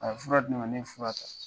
A ye fura di ne ma ne ye fura ta.